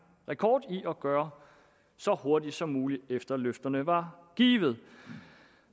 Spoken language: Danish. rekord i at gøre så hurtigt som muligt efter løfterne var givet